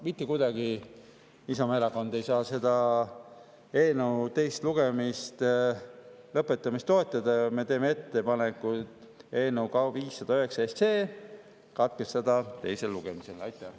Mitte kuidagi ei saa Isamaa Erakond eelnõu teise lugemise lõpetamist toetada ja me teeme ettepaneku eelnõu 509 teine lugemine katkestada.